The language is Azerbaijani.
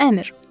Əmr.